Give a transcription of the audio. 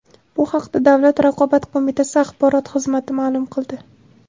Bu haqda Davlat raqobat qo‘mitasi axborot xizmati ma’lum qildi .